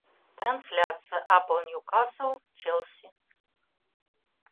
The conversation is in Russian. трансляция апл ньюкасл челси